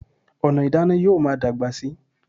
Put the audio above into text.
Ọ̀nà ìdáná yóò máa dàgbà síi